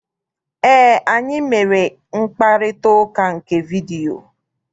Eé, anyị mere mkparịtaụka nke vidiyio.